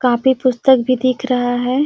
Copy पुस्तक भी दिख रहा है।